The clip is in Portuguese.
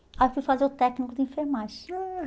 Aí eu fui fazer o técnico de enfermagem. Ah